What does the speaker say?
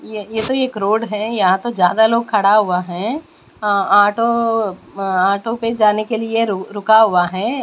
यह यह तो एक रोड है यहाँ तो ज्यादा लोग खड़ा हुआ है ऑ ऑटो म ऑटो पे जाने के लिए रुका हुआ है।